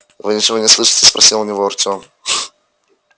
вы ничего не слышите спросил у него артем